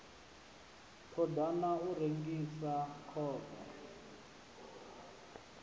ṱo ḓa u rengisa khovhe